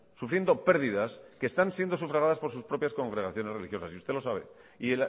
sufriendo pérdidas que están siendo sufragadas por sus propias congregaciones religiosas y usted lo sabe y